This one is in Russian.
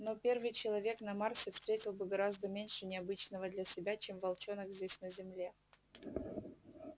но первый человек на марсе встретил бы гораздо меньше необычного для себя чем волчонок здесь на земле